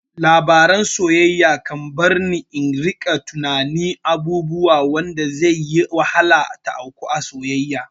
Labaran soyayya kan barni in rika tunanin abubuwa wanda zai yi wahala ta auku a soyayya